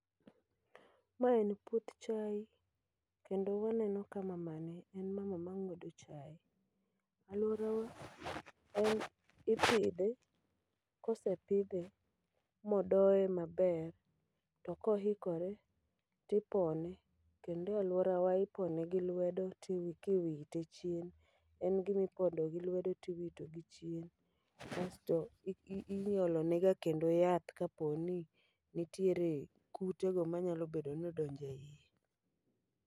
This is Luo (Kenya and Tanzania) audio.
Ma en puoth chai, kendo waneno ka mamani en mama ma ng'wedo chai. Alworawa en ipidhe, kosepidhe modoye maber to kohikore tipone. Kendo e alworawa ipone gi lwedo tiwite chien, en gimipono gi lwedo tiwito gichien. Kasto, i iolone ga kendo yath kaponi nitiere kute manyalo bedo nodonje iye.